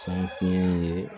San fe